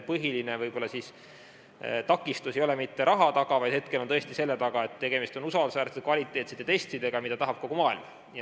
Põhiline takistus ei ole mitte raha taga, vaid hetkel tõesti selle taga, et tegemist on usaldusväärsete, kvaliteetsete testidega, mida tahab kogu maailm.